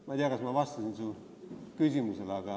Ma ei tea, kas ma vastasin su küsimusele.